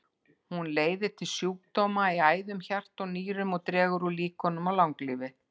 Hún leiðir til sjúkdóma í æðum, hjarta og nýrum og dregur úr líkunum á langlífi.